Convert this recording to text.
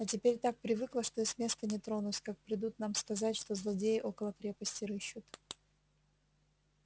а теперь так привыкла что и с места не тронусь как придут нам сказать что злодеи около крепости рыщут